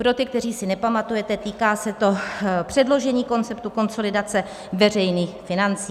Pro ty, kteří si nepamatujete, týká se to předložení konceptu konsolidace veřejných financí.